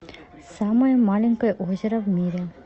самое маленькое озеро в мире